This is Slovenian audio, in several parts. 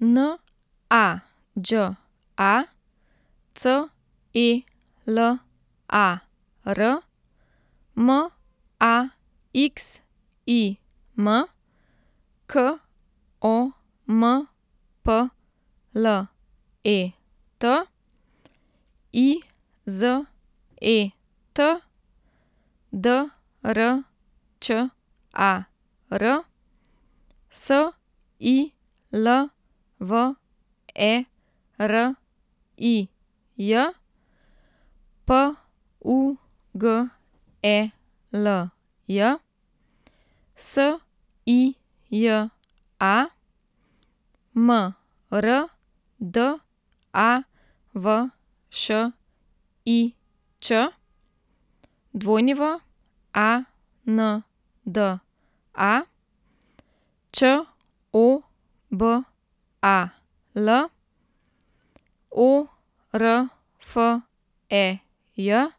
N A Đ A, C E L A R; M A X I M, K O M P L E T; I Z E T, D R Č A R; S I L V E R I J, P U G E L J; S I J A, M R D A V Š I Č; W A N D A, Č O B A L; O R F E J, Ž U Ž I N J A K; S O F Y A, H E S;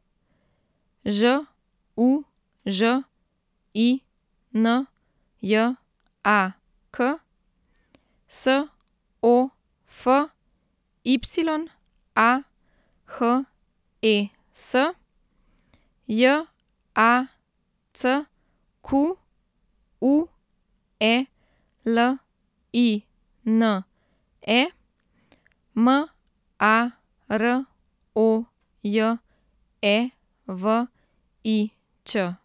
J A C Q U E L I N E, M A R O J E V I Ć.